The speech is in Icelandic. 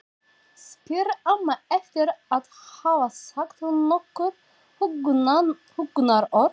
spyr amma eftir að hafa sagt nokkur huggunarorð.